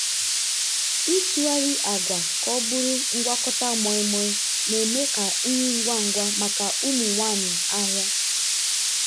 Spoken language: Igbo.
ịtụgharị agwa ka ọ bụrụ ngwakọta moi moi na-eme ka nri ngwa ngwa maka ụmụ nwanyị ahịa.